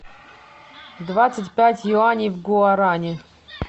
двадцать пять юаней в гуарани